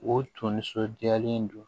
O tun nisɔndiyalen don